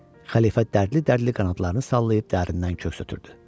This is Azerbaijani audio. Xəlifə dərdli-dərdli qanadlarını sallayıb dərindən köks ötürdü.